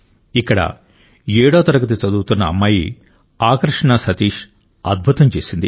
ఇక్కడ ఏడో తరగతి చదువుతున్న అమ్మాయి ఆకర్షణా సతీష్ అద్భుతం చేసింది